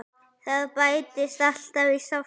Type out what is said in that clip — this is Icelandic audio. Það bætist alltaf í safnið.